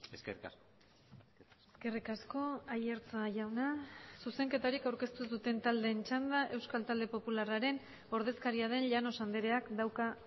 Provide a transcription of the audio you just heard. eskerrik asko eskerrik asko aiartza jauna zuzenketarik aurkeztu ez duten taldeen txanda euskal talde popularraren ordezkaria den llanos andreak dauka